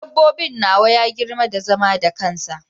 Dabbobin nawa ya girma da zama da kansa.